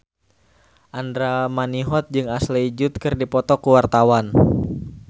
Andra Manihot jeung Ashley Judd keur dipoto ku wartawan